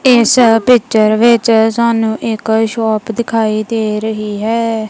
ਇਸ ਪਿੱਚਰ ਵਿੱਚ ਸਾਨੂੰ ਇੱਕ ਸ਼ੌਪ ਦਿਖਾਈ ਦੇ ਰਹੀ ਹੈ।